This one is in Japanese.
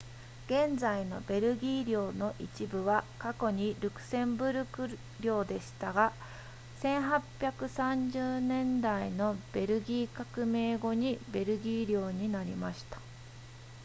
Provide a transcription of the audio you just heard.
現在のベルギー領の一部は過去にルクセンブルク領でしたが1830年代のベルギー革命後にベルギー領になりました